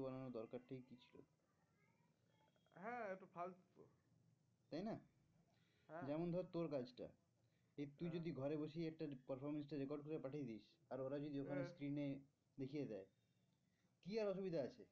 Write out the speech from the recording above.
তাই না হ্যাঁ যেমন ধর তোর কাজটা তুই যদি ঘরে বসেই performance টা record করে পাঠিয়ে দিস আর ওরা যদি ওখানে screen এ দেখিয়ে দেয় কি আর অসুবিধা আছে?